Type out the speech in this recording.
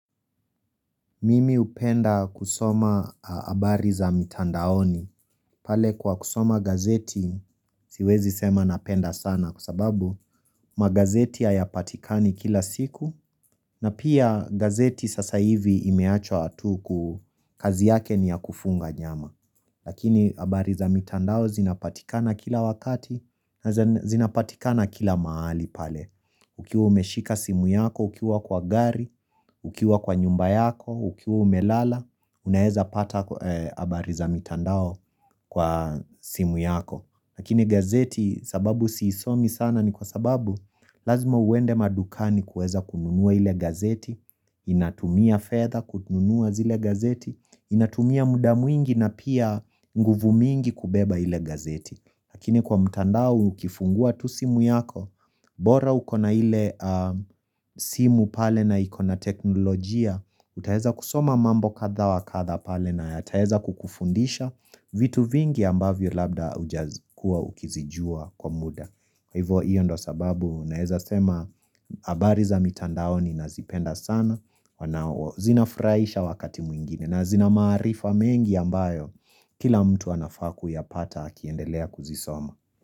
Mimi hupenda kusoma habari za mitandaoni, pale kwa kusoma gazeti siwezi sema napenda sana kwa sababu magazeti hayapatikani kila siku, na pia gazeti sasa hivi imeachwa hatuku kazi yake ni ya kufunga nyama Lakini habari za mitandao zinapatikana kila wakati na zinapatikana kila mahali pale Ukiwa umeshika simu yako, ukiwa kwa gari Ukiwa kwa nyumba yako, ukiwa umelala unaweza pata habari za mitandao kwa simu yako, lakini gazeti sababu siisomi sana ni kwa sababu Lazima uende madukani kuweza kununua ile gazeti Inatumia fedha kununua zile gazeti, inatumia muda mwingi na pia nguvu mingi kubeba ile gazeti, Lakini kwa mtandao ukifungua tu simu yako bora uko na ile simu pale na iko na teknolojia, utaweza kusoma mambo kadha wa kadha pale na yataweza kukufundisha vitu vingi ambavyo labda hujakuwa ukizijua kwa muda. Hivo hiyo ndo sababu naweza sema habari za mitandaoni nazipenda sana Zinafuraisha wakati mwingine na zina maarifa mengi ambayo kila mtu anafaa kuyapata akiendelea kuzisoma.